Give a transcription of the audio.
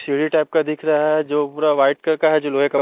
सीढ़ी टाइप का दिख रहा है जो पूरा व्हाईट कलर का है जो लोहे का--